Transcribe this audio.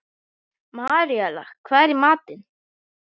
Maríella, hvað er í matinn?